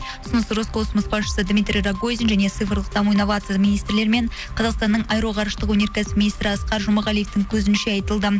ұсыныс роскосмос басшысы дмитрий рогозин және цифрлық даму инновация министрлерімен қазақстанның аэроғарыштық өнеркәсіп министрі асқар жұмағалиевтың көзінше айтылды